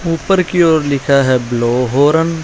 ऊपर की ओर लिखा है ब्लो होरन ।